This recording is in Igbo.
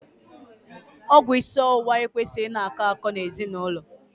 Ọgwụ isi ọwụwa ekwesịghị ị kọ akọ n'ezinaụlọ.